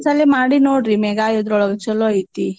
ಒಂದ್ಸಲೆ ಮಾಡಿ ನೋಡ್ರೀ ಮೇಗಾ ಇದ್ರೊಳ್ಗ ಚೊಲೋ ಐತೀ.